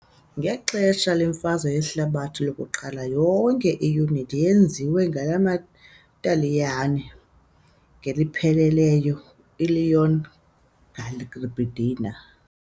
Ngexesha leMfazwe yeHlabathi lokuQala yonke iyunithi yenziwe ngamaTaliyane ngokupheleleyo- iLegion Garibaldina .